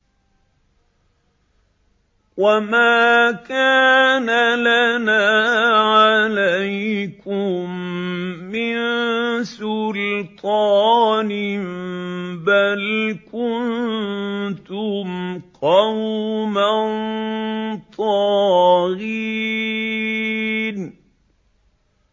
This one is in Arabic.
وَمَا كَانَ لَنَا عَلَيْكُم مِّن سُلْطَانٍ ۖ بَلْ كُنتُمْ قَوْمًا طَاغِينَ